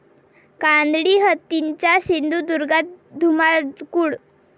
कानडी हत्तींचा सिंधुदुर्गात धुमाकूळ